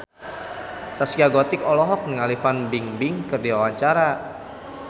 Zaskia Gotik olohok ningali Fan Bingbing keur diwawancara